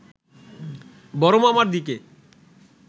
বড়মামার দিকে